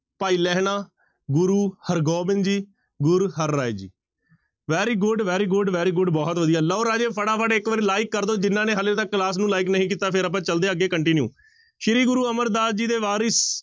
ਭਾਈ Lehna, Guru Hargobind ji, Guru Har Rai ji very good, very good, very good ਬਹੁਤ ਵਧੀਆ ਲਓ ਰਾਜੇ ਫਟਾਫਟ ਇੱਕ ਵਾਰੀ like ਕਰ ਦਓ, ਜਿਹਨਾਂ ਨੇ ਹਾਲੇ ਤੱਕ class ਨੂੰ like ਨਹੀਂ ਕੀਤਾ ਫਿਰ ਆਪਾਂ ਚੱਲਦੇ ਹਾਂ ਅੱਗੇ continue ਸ੍ਰੀ ਗੁਰੂ ਅਮਰਦਾਸ ਜੀ ਦੇ ਵਾਰਿਸ